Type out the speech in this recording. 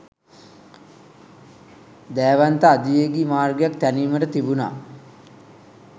දෑවන්ත අධිවේගි මාර්ගයක් තෑනීමට තිබුනා